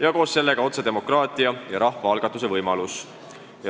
ning koos sellega otsedemokraatia ja rahvaalgatuse võimalus.